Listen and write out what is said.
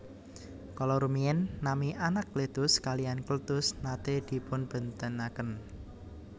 Kala rumiyin nami Anakletus kaliyan Kletus naté dipunbèntenaken